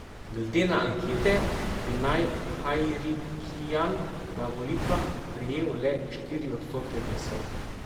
Glede na ankete bi naj Hajrikjan na volitvah prejel le štiri odstotke glasov.